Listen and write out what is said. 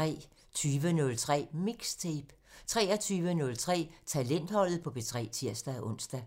20:03: MIXTAPE 23:03: Talentholdet på P3 (tir-ons)